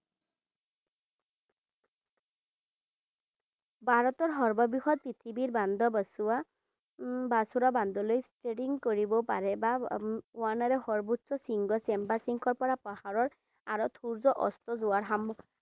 ভাৰতৰ সৰ্ববৃহৎ পৃথিৱীৰ বান্ধ বাসুৰা বান্ধলৈ steering কৰিব পাৰে, বা সৰ্বোচ্চ শৃংগ পৰা পাহাৰৰ আঁৰত সূৰ্য অস্ত যোৱা